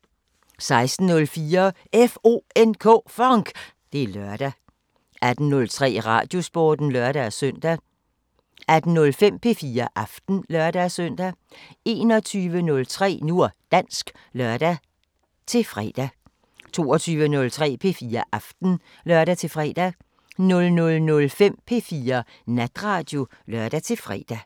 16:04: FONK! Det er lørdag 18:03: Radiosporten (lør-søn) 18:05: P4 Aften (lør-søn) 21:03: Nu og dansk (lør-fre) 22:03: P4 Aften (lør-fre) 00:05: P4 Natradio (lør-fre)